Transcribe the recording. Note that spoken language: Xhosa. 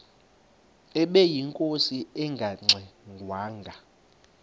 ubeyinkosi engangxe ngwanga